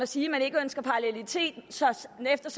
sige at man ikke ønsker parallelitet